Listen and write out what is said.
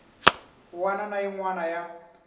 wana na yin wana ya